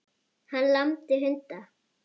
Hann lamdi hunda